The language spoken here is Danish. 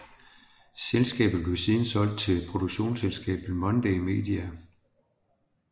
Selskabet blev siden solgt til produktionsselskabet Monday Media